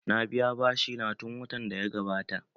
Na biya bashi na tun watan da ya gabata